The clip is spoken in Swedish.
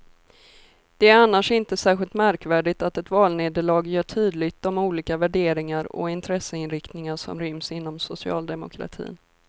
Det är annars inte särskilt märkvärdigt att ett valnederlag gör tydligt de olika värderingar och intresseinriktningar som ryms inom socialdemokratin.